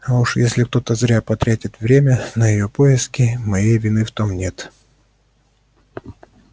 а уж если кто-то зря потратит время на её поиски моей вины в том нет